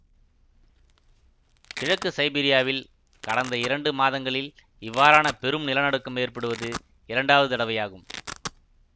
கிழக்கு சைபீரியாவில் கடந்த இரண்டு மாதங்களில் இவ்வாறான பெரும் நிலநடுக்கம் ஏற்படுவது இரண்டாவது தடவையாகும்